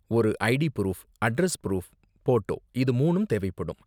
ஒரு ID proof, address proof, photo இது மூனும் தேவைப்படும்.